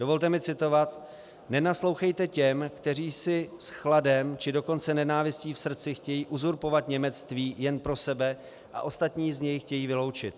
Dovolte mi citovat: "Nenaslouchejte těm, kteří si s chladem, či dokonce nenávistí v srdci chtějí uzurpovat němectví jen pro sebe a ostatní z něj chtějí vyloučit."